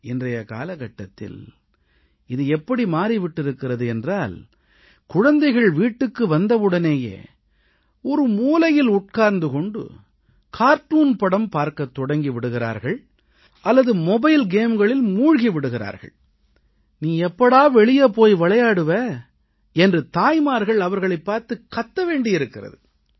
இன்றைய காலகட்டத்தில் இது எப்படி மாறி விட்டிருக்கிறது என்றால் குழந்தைகள் வீட்டுக்கு வந்தவுடனேயே ஒரு மூலையில் உட்கார்ந்து கொண்டு கார்ட்டூன் படம் பார்க்கத் தொடங்கி விடுகிறார்கள் அல்லது மொபைல் கேம்களில் மூழ்கி விடுகிறார்கள் நீ எப்போது வெளியே போய் விளையாடுவாய் என்று தாய்மார்கள் அவர்களைப் பார்த்துக் கத்த வேண்டியிருக்கிறது